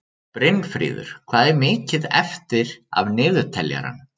Brynfríður, hvað er mikið eftir af niðurteljaranum?